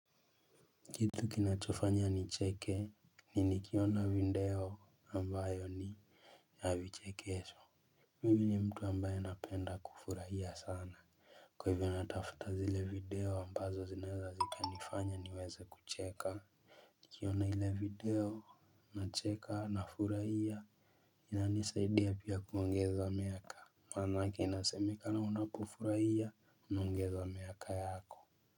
Kitu kinachofanya nicheke. Ni nikiona video ambayo ni ya vichekesho. Mimi ni mtu ambaye napenda kufurahia sana. Kwa hivyo natafuta zile video ambazo zinaeza zikanifanya niweze kucheka nikiona ile video nacheka nafurahia inanisaidi pia kuongeza miaka. Maanake inasemekana unapofurahia unaongeza miaka yako.